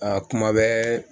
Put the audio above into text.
Ka kuma bɛɛ